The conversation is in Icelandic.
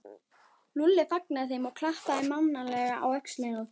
Lúlli fagnaði þeim og klappaði mannalega á öxlina á þeim.